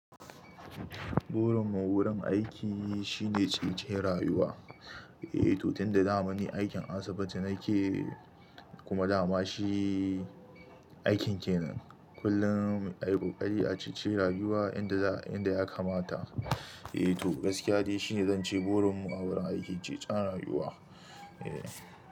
Burin mu wurin aiki shine cece rayuwa. Eh, to tun da dama ni aikin asibiti nake, kuma dama shi aikin kenan. Kullum, ai ƙoƙari a ceci rayuwa inda ya kamata, eh to, gaskiya dai shine zan ce burin mu a wurin aiki cecen rayuwa. Eh.